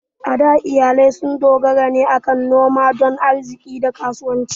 A da, iyalai sun dogara ne kan noma don arziƙi da kasuwanci.